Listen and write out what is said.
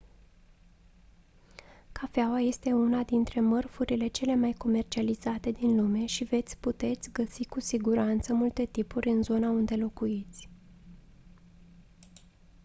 cafeaua este una dintre mărfurile cele mai comercializate din lume și veți puteți găsi cu siguranță multe tipuri în zona unde locuiți